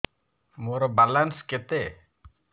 ମୋର ବାଲାନ୍ସ କେତେ